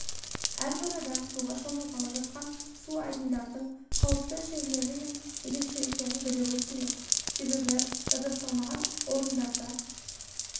әрбір адам суға шомылғалы жатқан су айдындардың қауіпті жерлері мен ерекшеліктерін білуі тиіс себебі жабдықталмаған орындарда